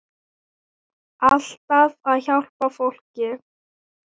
Alltaf að hjálpa fólki.